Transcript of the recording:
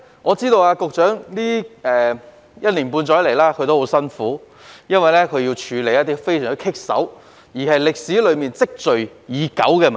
我知道局長在這一年半載以來十分辛苦，要處理一些非常棘手且存在已久的問題。